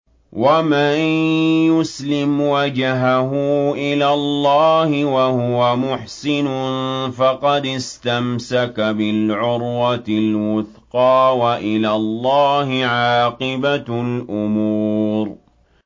۞ وَمَن يُسْلِمْ وَجْهَهُ إِلَى اللَّهِ وَهُوَ مُحْسِنٌ فَقَدِ اسْتَمْسَكَ بِالْعُرْوَةِ الْوُثْقَىٰ ۗ وَإِلَى اللَّهِ عَاقِبَةُ الْأُمُورِ